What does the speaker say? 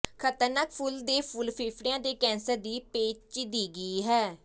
ਖਤਰਨਾਕ ਫੁੱਲ ਦੇ ਫੁੱਲ ਫੇਫੜਿਆਂ ਦੇ ਕੈਂਸਰ ਦੀ ਪੇਚੀਦਗੀ ਹੈ